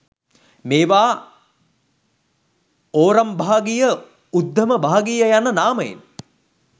මේවා ඕරම්භාගිය උද්ධමභාගීය යන නාමයෙන්